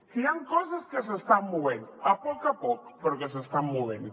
que hi han coses que s’estan movent a poc a poc però que s’estan movent